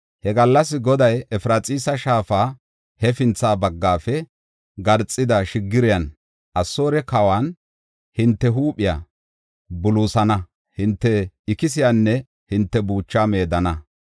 He gallas Goday Efraxiisa shaafa hefintha baggafe garxida shiggiriyan, Asoore kawan, hinte huuphiya buluusana; hinte ikisiyanne hinte buuchaa meedana.